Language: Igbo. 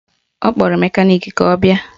Ọ kpọrọ mekaniki ka ọ bịa